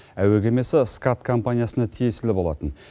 әуе кемесі скат компаниясына тиесілі болатын